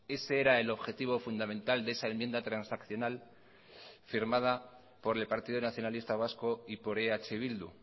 ese era el objetivo fundamental de esa enmienda transaccional firmada por el partido nacionalista vasco y por eh bildu